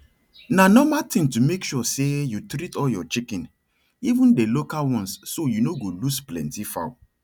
na nomal thing to make sure say you treat all your chicken even dey local ones so you no go lose plenty fowl